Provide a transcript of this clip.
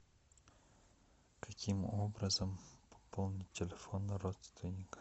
каким образом пополнить телефон родственника